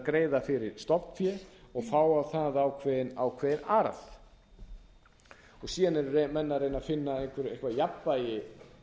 greiða fyrir stofnfé og fá á það ákveðinn arð síðan eru menn að reyna að finna eitthvert jafnvægi